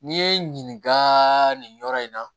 N'i ye n ɲininka nin yɔrɔ in na